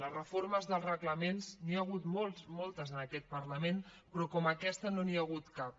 de reformes dels reglaments n’hi ha hagut moltes en aquest parlament però com aquesta no n’hi ha hagut cap